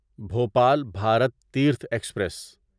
Bhopal Bharat Tirth express